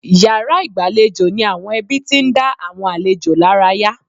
Yàrá ìgbàlejò ni àwọn ẹbí tí ń dá àwọn àlejò lára yá.